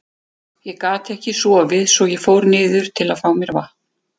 Ég gat ekki sofið svo að ég fór niður til að fá mér vatn.